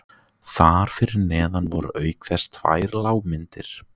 Þar fyrir neðan voru auk þess tvær lágmyndir